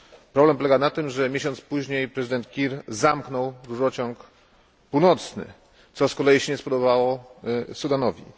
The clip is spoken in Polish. Problem polega na tym, że miesiąc później prezydent Kiir zamknął rurociąg północny, co z kolei nie spodobało się Sudanowi.